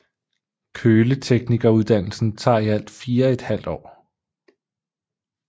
Køleteknikeruddannelsen tager i alt fire et halvt år